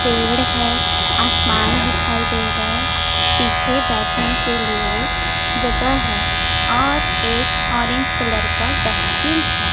पेड़ है आसमान दिखाई दे रा है। पीछे बैठने के लिए जगह है और एक ऑरेंज कलर का डस्टबिन है।